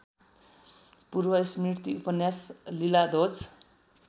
पूर्वस्मृति उपन्यास लीलाध्वज